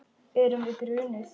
Erum við grunuð?